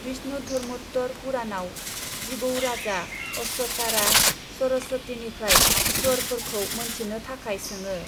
विष्णुधर्मोत्तर पुराणआव जिबौ राजा अश्वतारा सरस्वतीनिफ्राय स्वरफोरखौ मोनथिनो थाखाय सोङो।